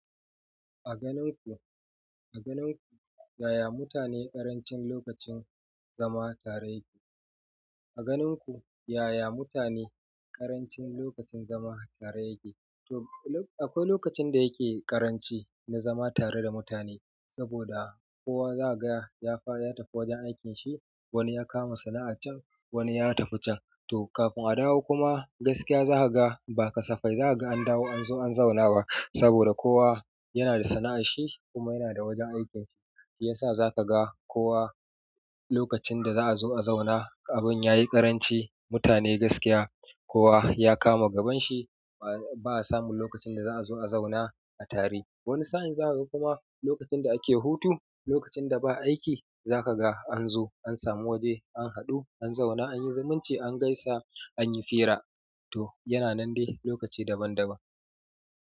A ganin ku, a ganin ku, yaya mutane ƙarancin lokacin zama tare yake? A ganinku yaya mutane ƙarancin zama tare yake? Akwai lokacin da yake ƙaranci na zama tare da mutane saboda kowa zaka ga ya tafi wajen aikin shi, wani ya kama sana'a can wani ya tafi can to kafin a dawo kuma gaskiya za ka ga ba kasafai za ka ga an dawo an zo an zauna ba, saboda kowa yana da sana'ar shi kuma yana da wajen aikin shi, shiyasa za ka ga kowa lokacin da za'a zo a zauna abin ya yi ƙaranci mutane gaskiya kowa ya kama gaban shi ba'a samu lokacin da za'a zo a zauna a tare. Wani sa'in za ka ga kuma lokacin da ake hutu, lokacin da ba aiki za ka ga an zo an samu waje an haɗu an zauna an yi zumunci an gaisa an yi fira. To yana nan dai lokaci daban-daban.